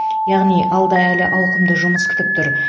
яғни алда әлі ауқымды жұмыс күтіп тұр